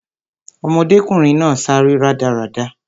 Ọmọdékùnrin náà sáré rádaràda